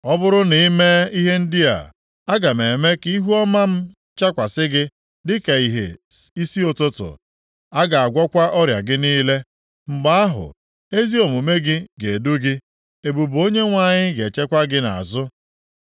Ọ bụrụ na i mee ihe ndị a, aga m eme ka ihuọma m chakwasị gị dịka ìhè isi ụtụtụ. A ga-agwọkwa ọrịa gị niile. Mgbe ahụ, ezi omume gị ga-edu gị, ebube Onyenwe anyị ga-echekwa gị nʼazụ.